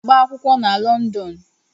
Aga m agba akwụkwọ na Lọndọn.